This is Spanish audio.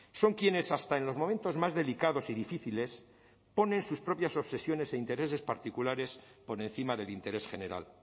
son quienes hasta en los momentos más delicados y difíciles ponen sus propias obsesiones e intereses particulares por encima del interés general